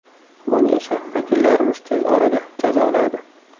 Buni esa vakillarimiz tez orada jazoladi.